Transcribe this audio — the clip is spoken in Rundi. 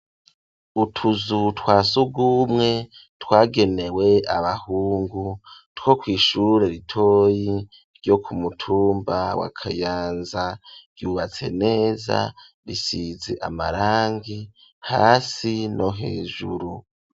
Utuzu twasugumwe twagenewe abahungu two kwishure ritoyi ryo ku mutumba wa kayanza yubatse neza bisizi amarangi hasi no hejuru.